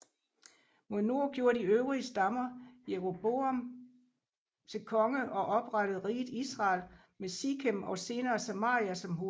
Mod nord gjorde de øvrige stammer Jeroboam til konge og oprettede riget Israel med Sikem og senere Samaria som hovedstad